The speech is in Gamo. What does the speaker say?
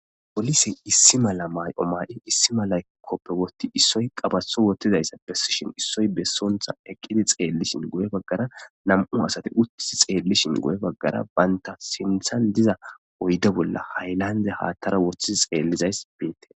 Polisey issi mala mayo mayi issi mala kopiya wothid issoy qabato wothidaysa besishn issoy besonta eqidi xeelishn nam'u asati guye bagara uti xelishn sinthan diza xaraphe bolla haylande hathara wothi xelizaysi betes.